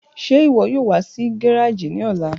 Ṣe iwọ yoo wa si gareji ni ọla?